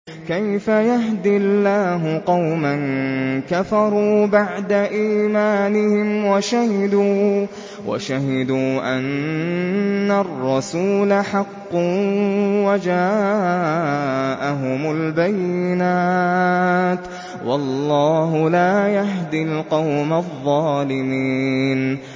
كَيْفَ يَهْدِي اللَّهُ قَوْمًا كَفَرُوا بَعْدَ إِيمَانِهِمْ وَشَهِدُوا أَنَّ الرَّسُولَ حَقٌّ وَجَاءَهُمُ الْبَيِّنَاتُ ۚ وَاللَّهُ لَا يَهْدِي الْقَوْمَ الظَّالِمِينَ